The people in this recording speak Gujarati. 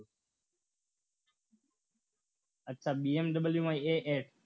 અચ્છા BMW માં AS